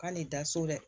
K'ale da so dɛ